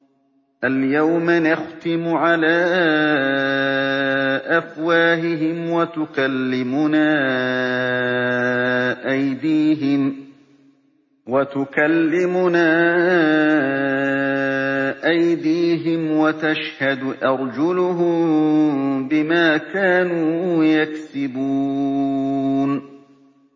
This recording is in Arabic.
الْيَوْمَ نَخْتِمُ عَلَىٰ أَفْوَاهِهِمْ وَتُكَلِّمُنَا أَيْدِيهِمْ وَتَشْهَدُ أَرْجُلُهُم بِمَا كَانُوا يَكْسِبُونَ